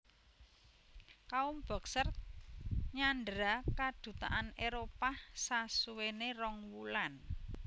Kaum Boxer nyandhera kadutaan Éropah sasuwene rong wulan